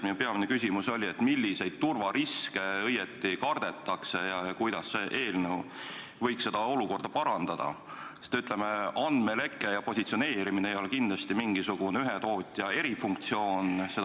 Minu peamine küsimus oli see, milliseid turvariske õieti kardetakse ja kuidas see eelnõu võiks seda olukorda parandada, sest andmeleke ja positsioneerimine ei ole kindlasti mingisugune ühe tootja erifunktsioon.